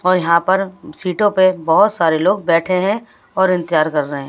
और यहाँ पर सीटों पे बहुत सारे लोग बैठे हैं और इंतजार कर रहे हैं।